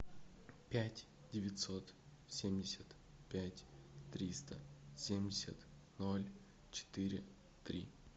пять девятьсот семьдесят пять триста семьдесят ноль четыре три